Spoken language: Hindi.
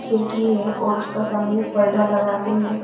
खिड़की है और उसका सामने पर्दा लगा के है।